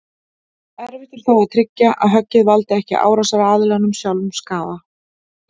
Erfitt er þó að tryggja að höggið valdi ekki árásaraðilanum sjálfum skaða.